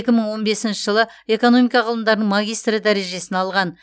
екі мың он бесінші жылы экономика ғылымдарының магистрі дәрежесін алған